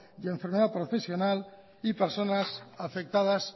y enfermedad profesional y personas afectadas